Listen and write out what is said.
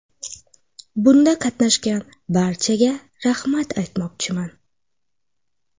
Bunda qatnashgan barchaga rahmat aytmoqchiman.